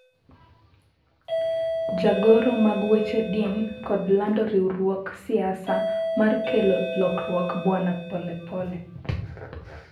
jagoro mag weche din kod lando riwruog siasa mar kelo lokruok bwana Pole pole